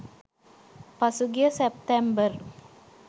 පසුගිය සැප්තැම්බර්